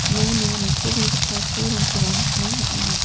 iano nitobegipa pulrangkoba nikna man·enga.